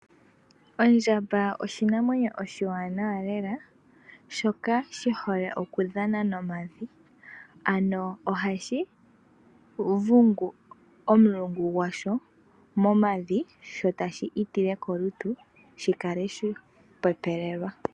Ondjamba oshinamwenyo oshiwanawa lela shoka shihole okudhana nomavi. Ano ohashi vugu omulungu gwasho momavi sho tashi ifile kolutu shikale shapepelelwa.